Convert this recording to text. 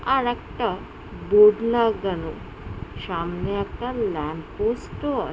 আর একটা বোর্ড লাগানো। সামনে একটা ল্যাম্পপোস্ট ও আ --